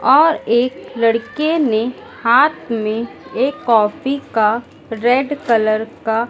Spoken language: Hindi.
और एक लड़के ने हाथ में एक कॉफी का रेड कलर का--